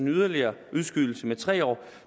yderligere udskydelse med tre år